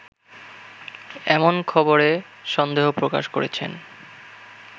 এমন খবরে সন্দেহ প্রকাশ করেছেন